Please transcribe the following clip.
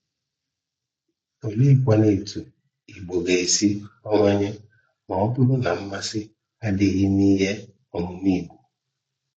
Oleekwanụ etu Igbo ga-esi abawanye, ma ọ bụrụ na mmasị adịghị n'ihe ọmụmụ Igbo?